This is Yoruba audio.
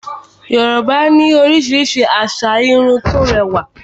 Yorùbá ní oríṣiríṣi asà Irun tó rẹwà